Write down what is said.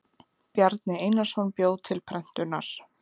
Bjarni Einarsson bjó til prentunar.